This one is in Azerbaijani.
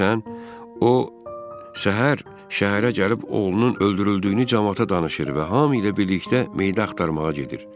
Bilirsən, o səhər şəhərə gəlib oğlunun öldürüldüyünü camaata danışır və hamı ilə birlikdə meydi axtarmağa gedir.